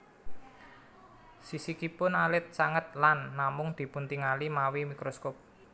Sisikipun alit sanget lan namung dipuntingali mawi mikroskop